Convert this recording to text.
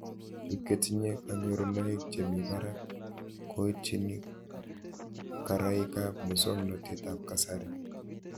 Pik chetinye kanyorunoik che mii parak koitchini karaik ab muswognatet ab kasari